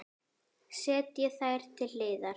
Setjið þær til hliðar.